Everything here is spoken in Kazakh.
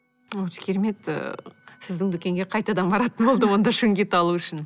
өте керемет ы сіздің дүкенге қайтадан баратын болдық онда шунгит алу үшін